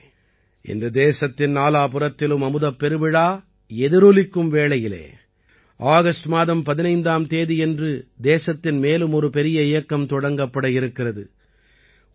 நண்பர்களே இன்று தேசத்தின் நாலாபுறத்திலும் அமுதப் பெருவிழா எதிரொலிக்கும் வேளையில் ஆகஸ்ட் மாதம் 15ஆம் தேதியன்று தேசத்தின் மேலும் ஒரு பெரிய இயக்கம் தொடங்கப்பட இருக்கிறது